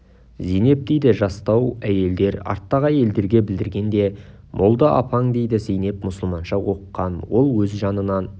зейнеп дейді жастау әйелдер арттағы әйелдерге білдіргенде молда апаң дейді зейнеп мұсылманша оқыған ол өз жанынан